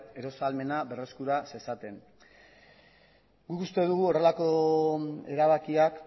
eros ahalmena berreskura zezaten guk uste dugu horrelako erabakiak